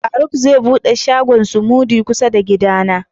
Faruk zai bude shagon "smoothie " kusa da gidan na.